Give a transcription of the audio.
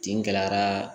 Kin gɛlɛyara